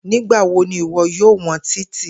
Nigbawo ni iwọ yoo wọn Titi?